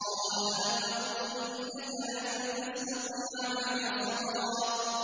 قَالَ أَلَمْ أَقُلْ إِنَّكَ لَن تَسْتَطِيعَ مَعِيَ صَبْرًا